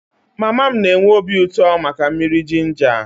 Mama m na-enwe obi uto maka mmiri jinja